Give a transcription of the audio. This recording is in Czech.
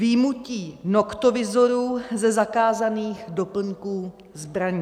Vyjmutí noktovizorů ze zakázaných doplňků zbraní.